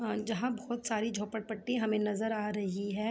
अ जहां बहुत सारी झोपड़पट्टी हमें नजर आ रही हैं।